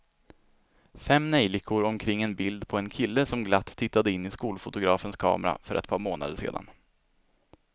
Fem neljikor omkring ett bild på en kille som glatt tittade in i skolfotografens kamera för ett par månader sedan.